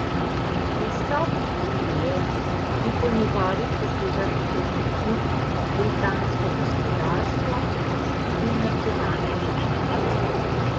Izstop iz Unije bi po njegovih besedah ogrozil britansko gospodarsko in nacionalno varnost.